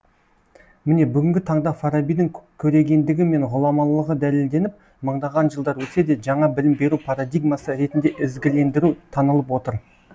міне бүгінгі таңда фарабидің көрегендігі мен ғұламалығы дәлелденіп мыңдаған жылдар өтсе де жаңа білім беру парадигмасы ретінде ізгілендіру танылып отыр